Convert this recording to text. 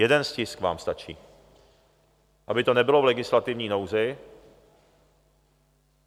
Jeden stisk vám stačí, aby to nebylo v legislativní nouzi.